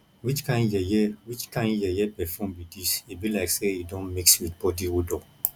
which kin yeye which kin yeye perfume be dis e be like say e don mix with body odor